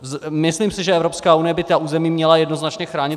Myslím si, že Evropská unie by ta území měla jednoznačně chránit.